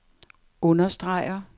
understreger